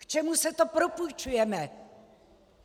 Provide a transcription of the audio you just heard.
K čemu se to propůjčujeme?